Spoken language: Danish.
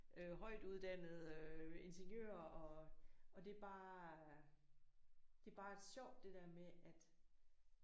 Øh højtuddannede ingeniører og og det er bare det er bare sjovt det der med at